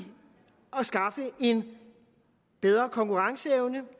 at skaffe en bedre konkurrenceevne